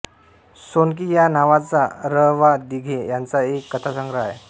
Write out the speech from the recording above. सोनकी या नावाचा र वा दिघे यांचा एक कथासंग्रह आहे